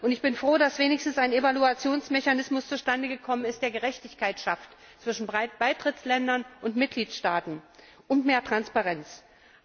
Ich bin froh, dass wenigstens ein Evaluationsmechanismus zustande gekommen ist, der Gerechtigkeit zwischen Beitrittsländern und Mitgliedstaaten und mehr Transparenz schafft.